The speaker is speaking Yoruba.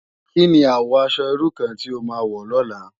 Ki ni àwò aṣò irú kàn ti ó má wò lòlá?